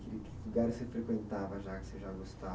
Que que lugar você frequentava já, que você já gostava?